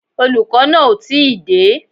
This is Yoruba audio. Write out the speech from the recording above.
Olùkọ́ náà ò tí ì dé